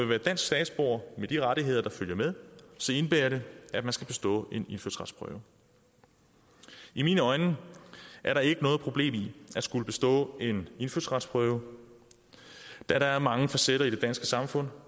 være dansk statsborger med de rettigheder der følger med indebærer det at man skal bestå en indfødsretsprøve i mine øjne er der ikke noget problem i at skulle bestå en indfødsretsprøve da der er mange facetter i det danske samfund